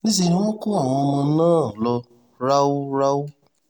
níṣẹ́ ni wọ́n kó àwọn ọmọ náà lọ ráúráú